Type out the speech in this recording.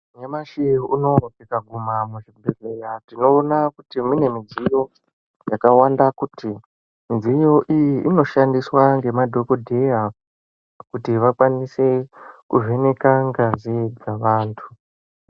Nyamashi unowu tika guma mu zvibhedhleya tino ona kuti mune mudziyo yaka wanda kuti mudziyo iyi ino shandiswa nge madhokodheya kuti vakwanise ku vheneka ngazi dzekupa vantu.